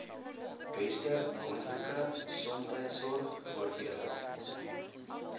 beste moontlike gesondheidsorgvoordele